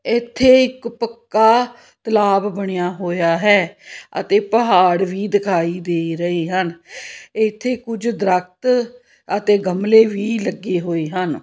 ਇੱਥੇ ਇੱਕ ਪੱਕਾ ਤਲਾਬ ਬਣਿਆ ਹੋਇਆ ਹੈ ਅਤੇ ਪਹਾੜ ਵੀ ਦਿਖਾਈ ਦੇ ਰਹੇ ਹਨ ਇੱਥੇ ਕੁਝ ਦਰਖ਼ਤ ਅਤੇ ਗਮਲੇ ਵੀ ਲੱਗੇ ਹੋਏ ਹਨ।